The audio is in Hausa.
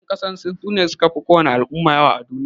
Yan ƙasan sin, su ne su ka fi ko wace al'umma yawa a duniya.